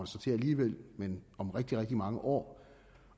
så til alligevel men om rigtig rigtig mange år